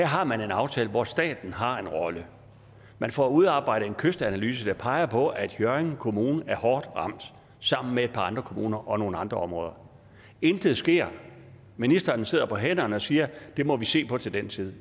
har man en aftale hvor staten har en rolle man får udarbejdet en kystanalyse der peger på at hjørring kommune er hårdt ramt sammen med et par andre kommuner og nogle andre områder intet sker ministeren sidder på hænderne og siger det må vi se på til den tid